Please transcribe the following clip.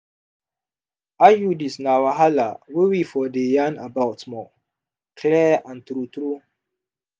iuds na wahala wey we for dey yarn about more clear and true true.